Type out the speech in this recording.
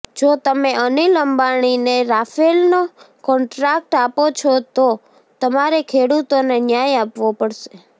જો તમે અનિલ અંબાણીને રાફેલનો કોન્ટ્રાક્ટ આપો છો તો તમારે ખેડૂતોને ન્યાય આપવો પડશે